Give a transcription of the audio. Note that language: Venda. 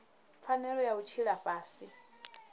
pfanelo ya u tshila fhasi